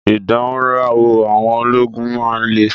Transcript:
Ìdánrawò àwọn ológun máa ń le.